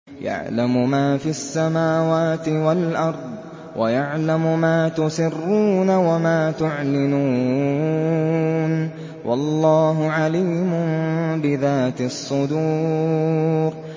يَعْلَمُ مَا فِي السَّمَاوَاتِ وَالْأَرْضِ وَيَعْلَمُ مَا تُسِرُّونَ وَمَا تُعْلِنُونَ ۚ وَاللَّهُ عَلِيمٌ بِذَاتِ الصُّدُورِ